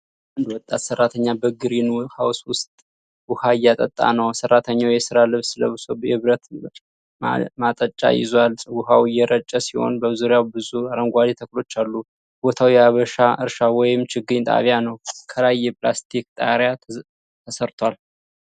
አንድ ወጣት ሠራተኛ በግሪን ሃውስ ውስጥ ውሃ እያጠጣ ነው። ሰራተኛው የሥራ ልብስ ለብሶ የብረት ማጠጫ ይዟል። ውሃው እየረጨ ሲሆን በዙሪያው ብዙ አረንጓዴ ተክሎች አሉ። ቦታው የአበባ እርሻ ወይም ችግኝ ጣቢያ ነው። ከላይ የፕላስቲክ ጣሪያ ተሠርቷል።